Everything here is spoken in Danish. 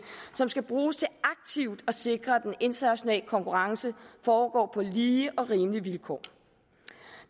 som skal bruges til aktivt at sikre at den internationale konkurrence foregår på lige og rimelige vilkår